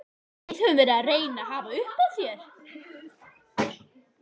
Við höfum verið að reyna að hafa upp á þér.